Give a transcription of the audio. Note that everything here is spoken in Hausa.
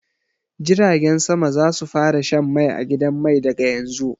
Jiragen sama za su fara shan mai a gidan mai daga yanzu.